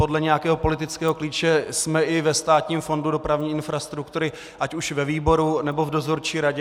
Podle nějakého politického klíče jsme i ve Státním fondu dopravní infrastruktury, ať už ve výboru, nebo v dozorčí radě.